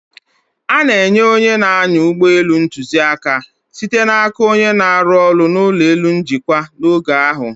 A na-enye onye na-anya ụgbọ elu ntuziaka, site n'aka onye na-arụ ọrụ n'ụlọ elu njikwa, n'oge ahụ.